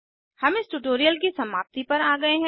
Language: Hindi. हम इस ट्यूटोरियल की समाप्ति पर आ गए हैं